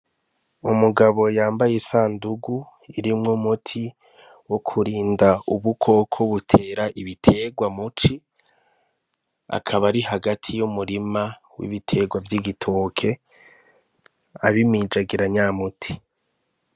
Umugabo yambaye isandugu irimwo muti wo kurinda ub ukoko butera ibiterwa muci akaba ari hagati y'umurima w'ibiterwa vy'igitoke abimijagira nyamuti.